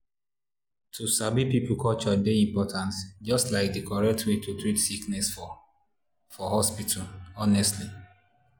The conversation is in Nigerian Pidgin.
to sabi people culture dey important just like di correct way to treat sickness for for hospital honestly.